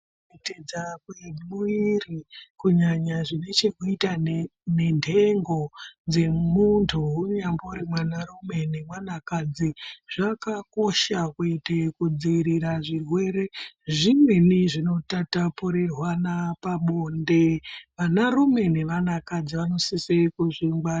Kuchinja kwemwiri kunyanya zvine chekuita nenthengo dzemunthu unyambori mwanarume nemwanakadzi zvakakosha kuite kudzivirira zvirwere zvimweni zvinotatapurirwana pabonde vanarume nevanakadzi vanosise kuzvingwarira.